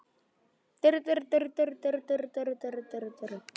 Sjóðurinn telst þá bundinn sjóður í félaginu en ekki frjáls.